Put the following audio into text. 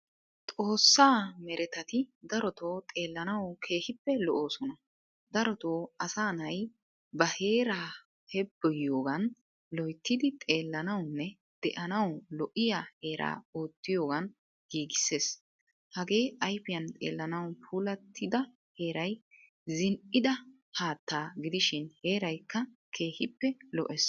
Xoossaa merettati darotto xeellanawu keehippe lo"osona. Darotto asaa na"ay ba heeraa heeboyiyogan loyttidi xeellanawune deanawu lo'iyaa heeraa oottiyogan giigisees. Hagee ayfiyan xeellanawu puullatida heeray zin"ida haattaa gidishin heeraykka keehippe lo"ees.